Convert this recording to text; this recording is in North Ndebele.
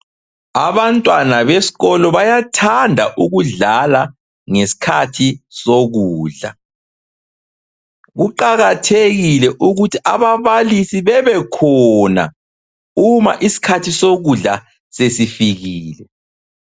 Abantwana besikolo bayathanda ukudlala ngesikhathi sokudla. Kuqakathekile ukuthi ababalisi bebekhona uma isikhathi sokudla sesifikile.